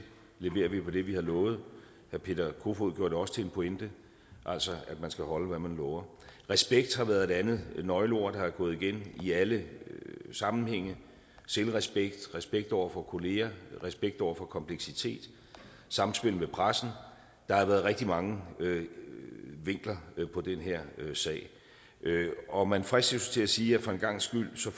leverer vi på det vi har lovet herre peter kofod poulsen gjorde det også til en pointe altså at man skal holde hvad man lover respekt har været et andet nøgleord der er gået igen i alle sammenhænge selvrespekt respekt over for kollegaerne respekt over for kompleksitet samspillet med pressen der har været rigtig mange vinkler på den her sag og man fristes jo til at sige at for en gangs skyld ser